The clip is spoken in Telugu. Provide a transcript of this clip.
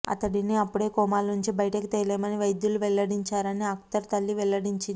అతడిని అప్పుడే కోమాలోంచి బయటకు తేలేమని వైద్యులు వెల్లడించారని అఖ్తర్ తల్లి వెల్లడించింది